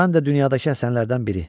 Mən də dünyadakı Həsənlərdən biri.